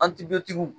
An ti be